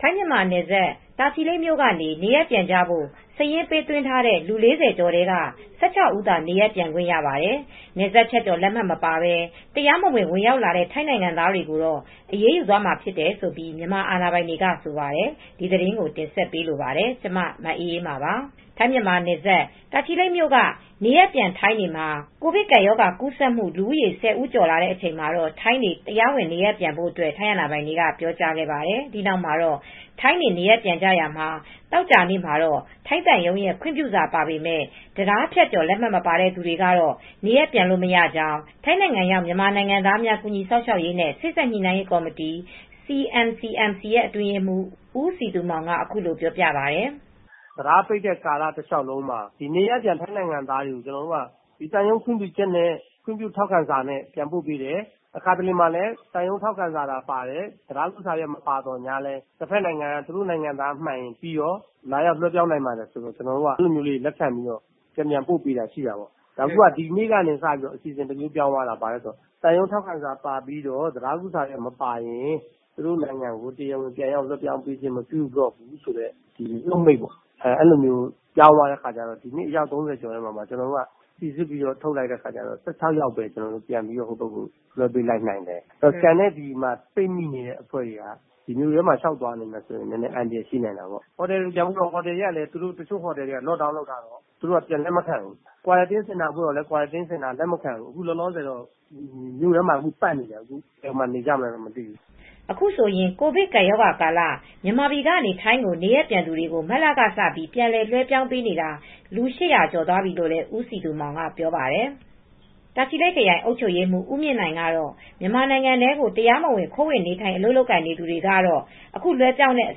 ထိုင်း-မြန်မာနယ်စပ် တာချီလိတ်မြို့ကနေ နေရပ်ပြန်ဖို့ စာရင်းပေးသွင်းတဲ့ ၄၀ကျော်ထဲက ၁၆ ဦးသာ နေရပ်ပြန်ခွင့်ရပါတယ်။ နယ်စပ်ဖြတ်ကျော်လက်မှတ်မပါပဲ တရားမဝင် ဝင်ရောက်လာတဲ့ ထိုင်းနိုင်ငံသားတွေ ကိုတော့ အရေးယူသွားမှာဖြစ်တယ်လို့ မြန်မာအာဏာပိုင်တွေကဆိုပါတယ်။ ဒီသတင်းကို ထိုင်း-မြန်မာနယ်စပ်ကနေ မအေးအေးမာက သတင်းပေးပို့ထားပါတယ်။ ထိုင်း-မြန်မာနယ်စပ် တာချီလိတ်မြို့က နေရပ်ပြန်ထိုင်းတွေ မှာ ကိုဗစ်ကပ်ရောဂါကူးစက်မူ လူဦးရေ ၁၀ဦးကျော်လာချိန်မှာ ထိုင်းတွေ တရားဝင်နေရပ်ပြန်ဖို့ ထိုင်းအာဏာပိုင်တွေက ပြောကြားခဲ့ပါတယ်။ဒီနောက်မှာတော့ ထိုင်းတွေ နေရပ်ပြန်ရာမှာ သောကြာနေ့မှာတော့ ထိုင်းသံရုံးရဲ့ခွင့်ပြုစာပါပေမယ့်တံတားဖြတ်ကျော် လက်မှတ်မပါတဲ့သူတွေကတော့နေရပ်ပြန်လို့ မရကြောင်း ထိုင်းနိုင်ငံရောက် မြန်မာနိုင်ငံသားများ ကူညီစောင့်ရှောက်ရေးနှင့် စေ့စပ်ညှိနိုင်းရေးကော်မတီ အတွင်းရေးမှူး ဦးစည်သူမောင်က အခုလိုပြောပြပါတယ်။ “တံတားပိတ်တဲ့ ကာလတလျောက်လုံးမှာ နေရပ်ပြန်ထိုင်းနိုင်ငံသားတွေကို သံရုံးခွင့်ပြုချက်နဲ့ ထောက်ခံစာနဲ့ ပြန်ပို့ပေးတယ်။ တခါတရံမှာလည်း သံရုံးထောက်ခံစာသာပါတယ်။ တံတားဖြတ်ကျော်တဲ့စာ မပါဘူး ဒါပေမယ့် တဖက်နိုင်ငံကသူတို့ နိုင်ငံသားမှန်ရင်ပြီးရော လာရောက်လွဲှပြောင်းနိုင်ပါတယ် ဆိုတော့ ကျနော်တို့ က လက်ခံပြီးတော့ ပြန်လည် လွဲှပြောင်းပေးလိုက်တာပေါ့။ ဒီနေ့ကျတော့အစီစဉ်တမျိုးပြန်ပြောင်းသွားတယ်။ သံရုံးထောက်ခံစာပါပြီး တံတားကူးတဲ့စာမပါရင် တဖက်နိုင်ငံကို ပြန်မပို့တော့ဘူးဆိုပြီး နှုတ်မိန့် ပြောင်းသွားတော့ အယောက် ၃၀ကျော်ထဲမှာ စီစစ်ပြီးထုတ်လိုက်တော့ ၁၆ယောက်ပဲ ဟိုဘက်ကို လွဲှပေးနိုင်ခဲ့တယ်။ ကျန်တဲ့လူတွေ ပိတ်မိတဲ့အဖွဲ့တွေကတော့မြို့ထဲမှာလျောက်သွားနိုင်ရင် အန္တရာယ် ရှိနိုင်တာပေါ့။ ဟိုတယ်တွေပြန်ပို့တော့လည်း ဟိုတယ်တွေက lock down လုပ်ထားတယ် သူတို့က လက်မခံကြဘူး။ စောင့်ကြည့်ရေးစင်တာပို့တော့လည်း စောင့်ကြည့်စင်တာတွေက လက်မခံဘူး။ အခုတော့ မြို့ထဲမှာပတ်နေကြတယ် ဘယ်မှာနေကြမသိဘူး။” အခုဆိုရင် ကိုဗစ်ကပ်ရောဂါကာလမှာ မြန်မာပြည်က နေထိုင်းကိုနေရပ်ပြန်သူတွေ ကို မတ်လက စပြီး ပြန်လည် လွဲှပြောင်းပေးတာလူ၈၀၀ကျော်သွားပြီလို့ ဦးစည်သူမောင်ကပြောပါတယ်။ တာချီလိတ်ခရိုင် အုပ်ချုပ်ရေးမှူး ဦးမြင့်နိုင်ကတော့ မြန်မာနိုင်ငံထဲကို တရားမဝင် ခိုးဝင်နေထိုင် အလုပ်လုပ်ကိုင်နေတဲ့ သူတွေကတော့ အခု လွဲှပြောင်းတဲ့အ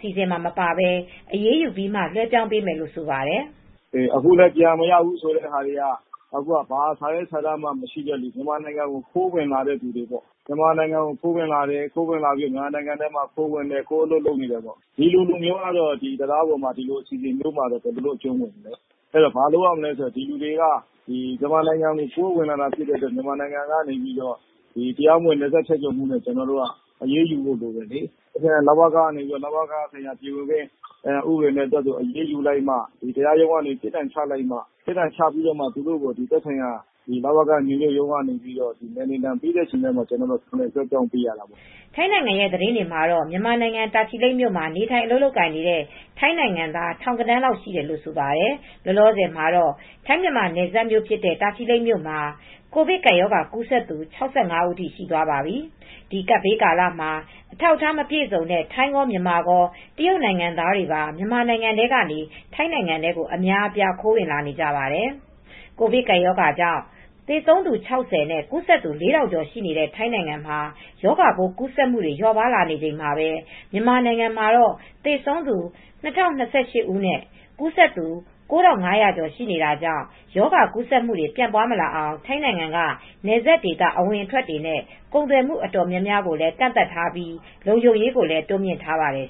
စီစဉ်မှာ မပါပဲ အရေးယူပြီးမှ လွဲှပြောင်းပေးမယ်လို့ ဆိုပါတယ် ။ “အခုပြန်မရဘူးဆိုတဲ့သူတွေကတော့ ဘာစာရွက်စာတမ်းမရှိသူတွေ မြန်မာနိုင်ငံကို ခိုးဝင်လာတဲ့သူတွေပေါ့။ မြန်မာနိုင်ငံထဲကို ခိုးဝင်လာသူတွေ ပေါ့။ မြန်မာနိုင်ငံထဲကို ခိုးဝင်ပြီး ၊ ခိုးပြီးအလုပ်လုပ်နေတဲ့သူတွေ ဒီလူတွေကတော့ တံတားပေါ်ကပြန်တဲ့ အစီစဉ်ထဲမှာ ဘယ်အကျုံးဝင်မလဲ။ ဘာလုပ်ရမလဲဆိုတော့ဒီလူတွေက မြန်မာနိုင်ငံထဲကို ခိုးဝင်လာတာ ဖြစ်တဲ့အတွက် တရားမဝင် နယ်စပ်ဖြတ်ကျော်မူနဲ့ အရေးယူဖို့လိုတယ်လေ။ လဝက ကနေ ပြည်ဝင်ခွင့် ဥပဒေနဲ့ အရေးယူမှ တရားရုံးကပြစ်ဒဏ်ချပြီးမှ သက်ဆိုင်ရာ လဝက နယ်နှင်တဲ့ ဥပဒေနဲ့မှ သူတို့ကိုပြန်လည်လွဲှပြောင်းပေးရတာပေါ့။” ထိုင်းနိုင်ငံရဲ့ သတင်းတွေမှာတော့ မြန်မာနိုင်ငံ တာချီလိတ် မြို့မှာ နေထိုင်အလုပ်လုပ်ကိုင်နေတဲ့ ထိုင်းနိုင်ငံသား ထောင်ဂဏန်းလောက်ရှိတယ်လို့ ဆိုပါတယ်။ လောလောဆည်မှာတော့ ထိုင်း- မြန်မာနယ်စပ်မြို့ ဖြစ်တဲ့ တာချီလိတ်မြို့မှာကူးစက်သူ ၆၅ဦး ထိ ရှိသွားပါပြီ။ ဒီကပ်ဘေးကာလမှာ အထောက်အထားမပြည့်စုံတဲ့ ထိုင်းရော၊ မြန်မာရော၊ တရုတ်နိုင်ငံသားများပါ မြန်မာနိုင်ငံထဲကနေ ထိုင်းနိုင်ငံထဲကို အများအပြားခိုးဝင်လာနေကြပါတယ်။ ကိုဗစ်ကပ်ရောဂါကြောင့် သေဆုံးသူ ၆၀ နဲ့ ကူးစက်သူ ၄ ထောင်ကျော် ရှိတဲ့ ထိုင်းနိုင်ငံမှာ ရောဂါပိုး ကူးစက်မှုတွေ လျော့ပါးနေချိန်မှာပဲ မြန်မာနိုင်ငံမှာတော့ သေဆုံးသူ ၂ ၀၂၈ ဦးနဲ့ ကူးစက်သူ ၉၅,၀၀၀ ကျော်ရှိနေတာကြောင့် ရောဂါကူးစက်မှုတွေ ပြန့်ပွားမလာအောင် ထိုင်းနိုင်ငံက နယ်စပ်ဒေသ အဝင်အထွက်တွေနဲ့ ကုန်သွယ်မှုတွေ တော်တော်များများကိုလည်း ကန့်သတ်ထားပြီး လုံခြုံရေးကိုလည်း တိုးမြှင့်ထားပါတယ်